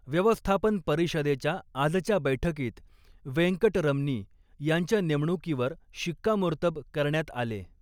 व्यवस्थापन परिषदेच्या आजच्या बैठकीत वेंकटरमनी यांच्या नेमणुकीवर शिक्कामोर्तब करण्यात आले.